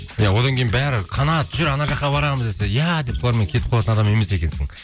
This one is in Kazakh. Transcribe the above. иә одан кейін бәрі қанат жүр анау жаққа барамыз десе иә деп солармен кетіп қалатын адам емес екенсің